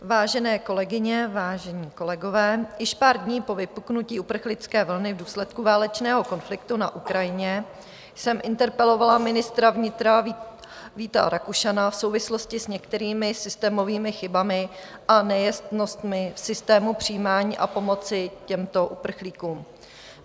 Vážené kolegyně, vážení kolegové, již pár dní po vypuknutí uprchlické vlny v důsledku válečného konfliktu na Ukrajině jsem interpelovala ministra vnitra Víta Rakušana v souvislosti s některými systémovými chybami a nejasnostmi v systému přijímání a pomoci těmto uprchlíkům.